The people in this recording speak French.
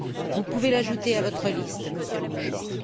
Vous pouvez l'ajouter à votre liste, Monsieur le Ministre.